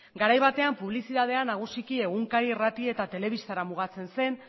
garai batean publizitatea nagusiki egunkari irrati eta telebistara mugatzen zen